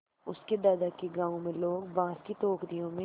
उसके दादा के गाँव में लोग बाँस की टोकरियों में